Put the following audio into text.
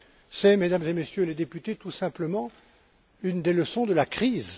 C'est, Mesdames et Messieurs les députés, tout simplement une des leçons de la crise.